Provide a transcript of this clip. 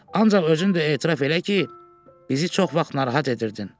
Ancaq özün də etiraf elə ki, bizi çox vaxt narahat edirdin.